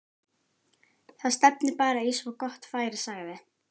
Það stefnir bara í svo gott færi sagði